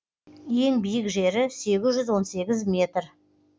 ең биік жері сегіз жүз он сегіз метр